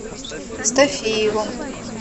стафееву